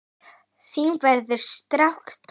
Þín verður sárt saknað.